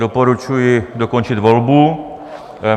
Doporučuji dokončit volbu.